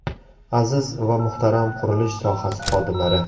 Aziz va muhtaram qurilish sohasi xodimlari!